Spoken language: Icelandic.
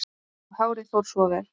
Og hárið fór svo vel!